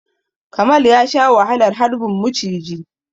Kamal ya sha wahalar harbin muciji.